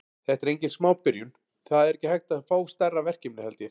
Þetta er engin smá byrjun, það er ekki hægt að fá stærra verkefni held ég.